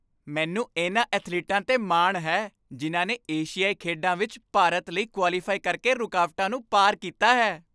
ਮੈਨੂੰ ਇਨ੍ਹਾਂ ਅਥਲੀਟਾਂ 'ਤੇ ਮਾਣ ਹੈ ਜਿਨ੍ਹਾਂ ਨੇ ਏਸ਼ੀਆਈ ਖੇਡਾਂ ਵਿੱਚ ਭਾਰਤ ਲਈ ਕੁਆਲੀਫਾਈ ਕਰਕੇ ਰੁਕਾਵਟਾਂ ਨੂੰ ਪਾਰ ਕੀਤਾ ਹੈ।